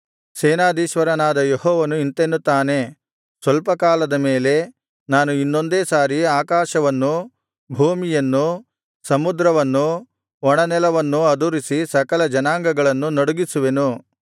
ಸೇನಾಧೀಶ್ವರನಾದ ಯೆಹೋವನು ಇಂತೆನ್ನುತ್ತಾನೆ ಸ್ವಲ್ಪ ಕಾಲದ ಮೇಲೆ ನಾನು ಇನ್ನೊಂದೇ ಸಾರಿ ಆಕಾಶವನ್ನೂ ಭೂಮಿಯನ್ನೂ ಸಮುದ್ರವನ್ನೂ ಒಣನೆಲವನ್ನೂ ಅದುರಿಸಿ ಸಕಲಜನಾಂಗಗಳನ್ನು ನಡುಗಿಸುವೆನು